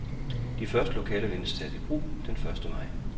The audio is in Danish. De første lokaler ventes at blive taget i brug den første maj.